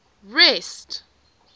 rest